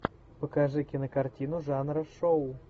покажи кинокартину жанра шоу